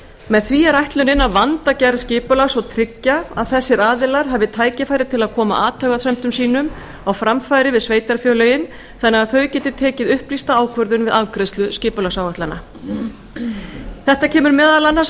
með því er ætlunin að vanda gerð skipulags og tryggja að þessir aðilar hafi tækifæri til að koma athugasemdum sínum á framfæri við sveitarfélögin þannig að þau geti tekið upplýsta ákvörðun við afgreiðslu skipulagsáætlana þetta kemur meðal annars